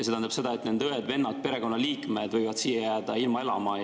See tähendab seda, et nende õed-vennad, perekonnaliikmed võivad jääda siia elama.